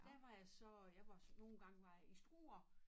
Der var jeg så jeg var så nogen gange var jeg i Struer